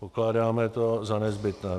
Pokládáme to za nezbytné.